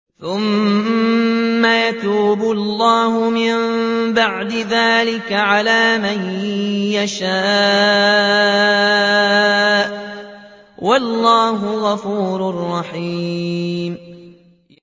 ثُمَّ يَتُوبُ اللَّهُ مِن بَعْدِ ذَٰلِكَ عَلَىٰ مَن يَشَاءُ ۗ وَاللَّهُ غَفُورٌ رَّحِيمٌ